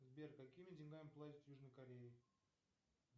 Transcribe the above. сбер какими деньгами платят в южной корее